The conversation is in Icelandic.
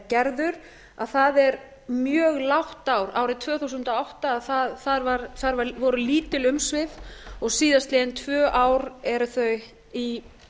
gerður að það er mjög lágt ár árið tvö þúsund og átta þar voru lítil umsvif og síðastliðin tvö ár eru þau í